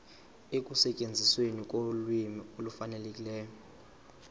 ekusetyenzisweni kolwimi olufanelekileyo